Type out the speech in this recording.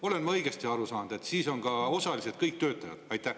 Olen ma õigesti aru saanud, et siis on osalised kõik töötajad?